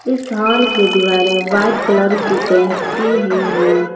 इस हॉल की दीवारें व्हाइट की कलर की पेंट की हुई हैं।